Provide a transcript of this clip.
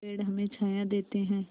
पेड़ हमें छाया देते हैं